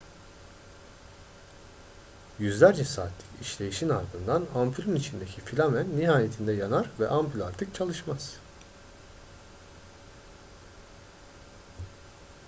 yüzlerce saatlik işleyişin ardından ampülün içindeki filamen nihayetinde yanar ve ampül artık çalışmaz